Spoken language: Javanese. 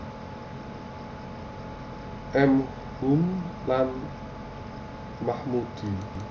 M Hum lan Mahmudi